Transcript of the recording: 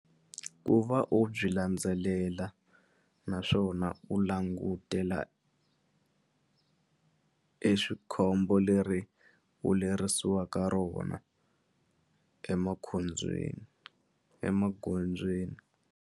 Ku va u byi landzelela naswona u langutela e swikhombo leri u lerisiweke rona emakhobyeni emagondzweni.